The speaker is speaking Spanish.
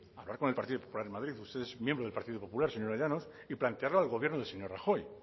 hablar con el partido popular en madrid usted es miembro del partido popular señora llanos y plantearlo al gobierno del señor rajoy